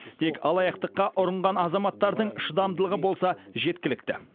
тек алаяқтыққа ұрынған азаматтардың шыдамдылығы болса жеткілікті